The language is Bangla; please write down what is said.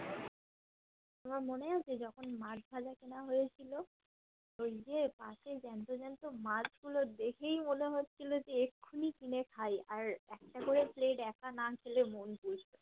তোমার মনে আছে যখন মাছ ভাজা খাওয়া হয়েছিল সেই যে মাছের জ্যান্ত জ্যান্ত মাছ গুলো দেখেই মনে হচ্ছিলো এক্ষুনি কিনে খাই আর একটা করে plate একা না খেলে মন